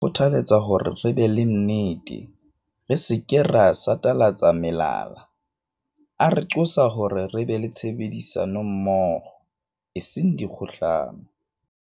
Maemo a jwalo a re kgothaletsa hore re be le nnete, re se ke ra satalatsa melala. A re qosa hore re be le tshebedisa nommoho, e seng dikgohlano.